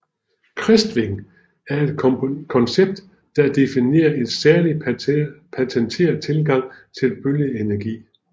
Crestwing er et koncept der definerer en særlig patenteret tilgang til bølgeenergi